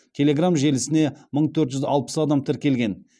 телеграмм желісіне мың төрт жүз алпыс адам тіркелген